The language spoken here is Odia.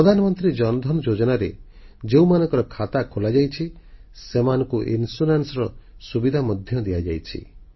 ପ୍ରଧାନମନ୍ତ୍ରୀ ଜନଧନ ଯୋଜନାରେ ଯେଉଁମାନଙ୍କ ଖାତା ଖୋଲାଯାଇଛି ସେମାନଙ୍କୁ ଇନସ୍ୟୁରାନ୍ସ ବା ବୀମା ସୁବିଧା ମଧ୍ୟ ଦିଆଯାଇଛି